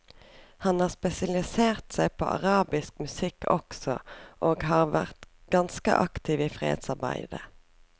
Han har spesialisert seg på arabisk musikk også, og har vært ganske aktiv i fredsarbeidet.